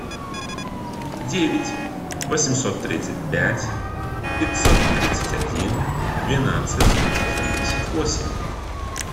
девять восемьсот тридцать пять пятьсот тридцать один двенадцать семьдесят восемь